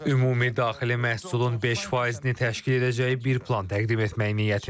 Ümumi daxili məhsulun 5%-ni təşkil edəcəyi bir plan təqdim etmək niyyətindəyəm.